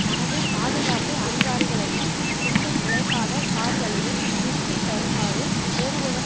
தனது பாதுகாப்பு அதிகாரிகளையும் குண்டு துளைக்காத கார்களையும் திருப்பி தருமாறு கோருவதன்